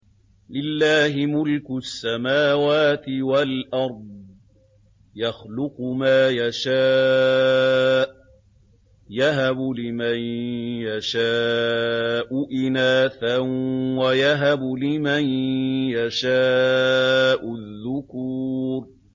لِّلَّهِ مُلْكُ السَّمَاوَاتِ وَالْأَرْضِ ۚ يَخْلُقُ مَا يَشَاءُ ۚ يَهَبُ لِمَن يَشَاءُ إِنَاثًا وَيَهَبُ لِمَن يَشَاءُ الذُّكُورَ